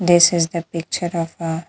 This is the picture of a --